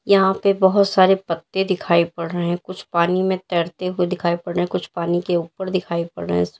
यहां पे बोहोत सारे पत्ते दिखाई पड़ रहे हैं कुछ पानी में तैरते हुए दिखाई पड़ रहे कुछ पानी के ऊपर दिखाई पड़ रहे --